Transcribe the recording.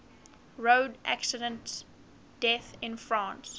road accident deaths in france